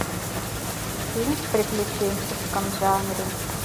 фильм в приключенческом жанре